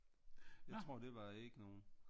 Jeg tror det var ikke nogen